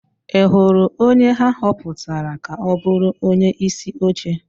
Ị hụrụ onye ha họpụtara ka ọ bụrụ onyeisi oche?